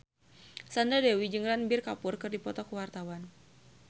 Sandra Dewi jeung Ranbir Kapoor keur dipoto ku wartawan